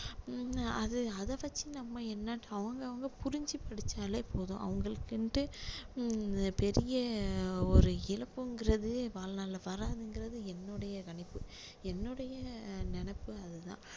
உம் அது அதை வச்சு நம்ம என்ன அவங்க அவங்க புரிஞ்சி படிச்சாலே போதும் அவங்களுக்குன்னுட்டு ஹம் பெரிய ஒரு இழப்புங்குறது வாழ்நாளில வராதுங்குறது என்னுடைய கணிப்பு என்னுடைய நினைப்பு அது தான்